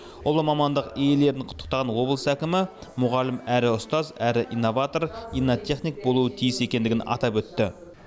ұлы мамандық иелерін құттықтаған облыс әкімі мұғалім әрі ұстаз әрі инноватор иннотехник болуы тиіс екендігін атап өтті